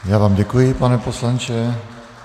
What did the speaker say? Já vám děkuji, pane poslanče.